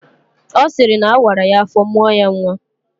Ọ sịrị na awara ya afọ mụọ ya nnwa